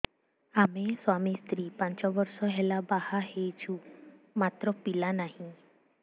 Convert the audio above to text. ଆମେ ସ୍ୱାମୀ ସ୍ତ୍ରୀ ପାଞ୍ଚ ବର୍ଷ ହେଲା ବାହା ହେଇଛୁ ମାତ୍ର ପିଲା ନାହିଁ